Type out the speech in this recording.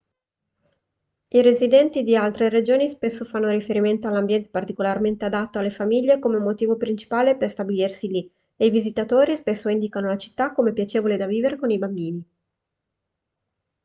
i residenti di altre regioni spesso fanno riferimento all'ambiente particolarmente adatto alle famiglie come motivo principale per stabilirsi lì e i visitatori spesso indicano la città come piacevole da vivere con i bambini